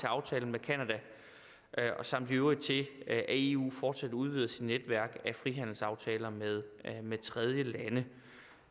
aftalen med canada samt i øvrigt til at eu fortsat udvider sit netværk af frihandelsaftaler med med tredjelande det